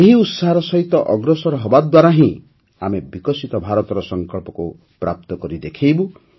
ଏହି ଉତ୍ସାହର ସହିତ ଅଗ୍ରସର ହେବାଦ୍ୱାରା ହିଁ ଆମେ ବିକଶିତ ଭାରତର ସଂକଳ୍ପକୁ ପ୍ରାପ୍ତ କରି ଦେଖାଇବୁ